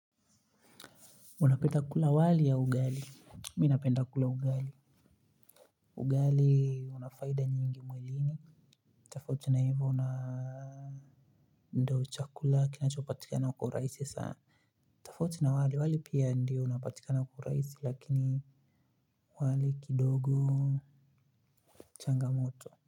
Unapenda kula wali au ugali, mimi napenda kula ugali. Ugali una faida nyingi mwilini. Tafauti na hivyo una ndo chakula kinachopatikana kwa urahisi saa. Tafauti na wali wali pia ndio unapatikana kwa urahisi lakini wali kidogo. Changamoto.